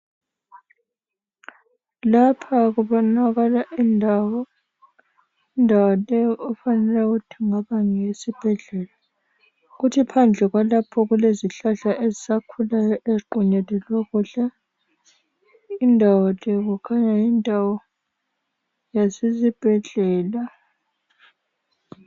Lapha kubonakala indawo, indawo le okufanele ukuthi kungaba ngeyesibhedlela kuthi phandle kwalapho kulezihlahla ezisakhulayo eziqunyelelwe kuhle indawo le kukhanya yindawo yase sibhedlela.